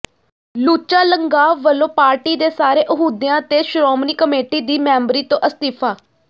ਲੁੱਚਾ ਲੰਗਾਹ ਵੱਲੋਂ ਪਾਰਟੀ ਦੇ ਸਾਰੇ ਅਹੁਦਿਆਂ ਤੇ ਸ਼ੋਮਣੀ ਕਮੇਟੀ ਦੀ ਮੈਂਬਰੀ ਤੋਂ ਅਸਤੀਫਾ